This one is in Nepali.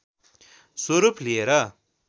स्वरूप लिएर